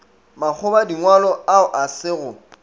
makgobadingwalo ao a se go